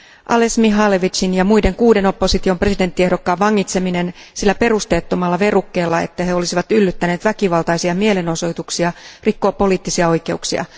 Ales Mihalevitšin ja muiden kuuden opposition presidenttiehdokkaan vangitseminen sillä perusteettomalla verukkeella, että he olisivat yllyttäneet väkivaltaisia mielenosoituksia, rikkoo poliittisia oikeuksia.